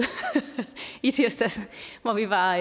i tirsdags hvor vi var